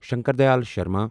Shankar Dayal Sharma